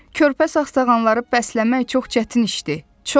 Körpə sağsağanları bəsləmək çox çətin işdir, çox.